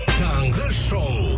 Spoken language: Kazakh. таңғы шоу